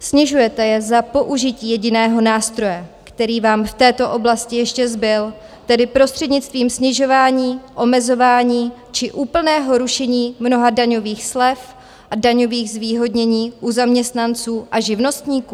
Snižujete je za použití jediného nástroje, který vám v této oblasti ještě zbyl, tedy prostřednictvím snižování, omezování či úplného rušení mnoha daňových slev a daňových zvýhodnění u zaměstnanců a živnostníků?